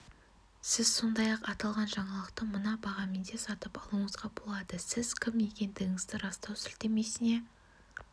сіз сондай-ақ аталған жаңалықты мына бағамен де сатып алуыңызға болады сіз кім екендігіңізді растау сілтемесіне